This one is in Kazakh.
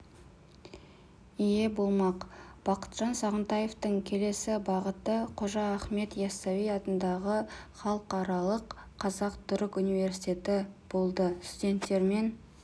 ие болмақ бақытжан сағынтаевтың келесі бағыты қожа ахмет яссауи атындағы халықаралық қазақ-түрік университеті болды студенттермен